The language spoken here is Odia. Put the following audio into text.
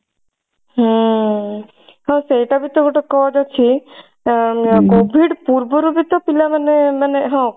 ହୁଁ ହଁ ସେଇଟା ବି ତ ଗୋଟେ cause ଅଛି ଅ COVID ପୂର୍ବରୁ ବି ତ ପିଲା ମାନେ ମାନେ ହଁ